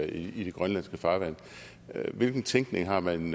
i de grønlandske farvande hvilken tænkning har man